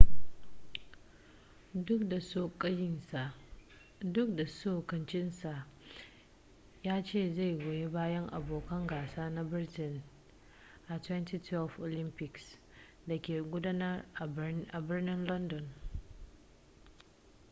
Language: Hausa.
duk da tsokacinsa ya ce zai goyi bayan abokan gasa na britain a 2012 olympics da ke gudana a birnin london